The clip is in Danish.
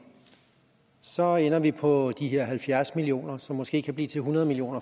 så ender vi på de her halvfjerds million kr som måske kan blive til hundrede million